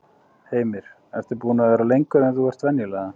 Heimir: Búinn að vera lengur en þú ert venjulega?